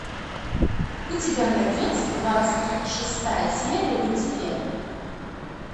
у тебя найдется двадцать шестая серия люцифер